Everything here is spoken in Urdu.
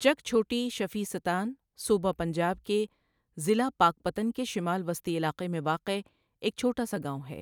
چک چهوٹی شفیع ستان صوبه پنجاب کے ضلع پاکپتن کے شمال وسطی علاقے میں واقع ایک چهوٹا سا گاؤں ہے۔